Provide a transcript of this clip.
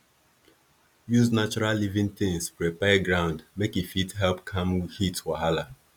use natural living tins prepare ground make e fit help calm heat wahala